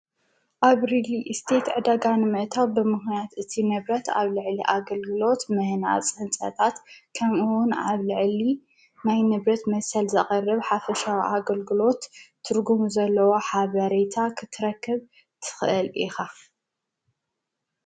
ኣብ ሪሊስቴት ዕደጋ ንምእታው ብምኽንያት እቲ ንብረት ኣብ ልዕሊ ኣገልግሎት ምህናፅ ህንጸታት ከም እውን ኣብ ልዕሊ ናይ ንብረት መሰል ዘቕረብ ሓፍሻዊ ኣገልግሎት ትርጉም ዘለዎ ሓበሬታ ኽትረክብ ትኽአል ኢኻ፡፡